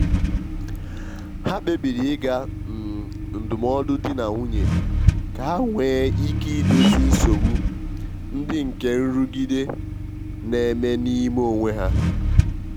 ha kpebiri ịga um ndụmọdụ di na nwunye ka ha nwee ike idozi nsogbu ndị nke nrụgide n'eme n'ime onwe ha.